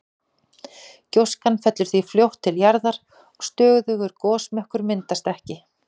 Gjóskan fellur því fljótt til jarðar og stöðugur gosmökkur myndast ekki.